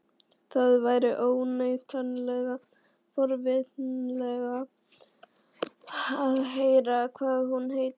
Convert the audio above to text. Það væri óneitanlega forvitnilegt að heyra hvað hún heitir.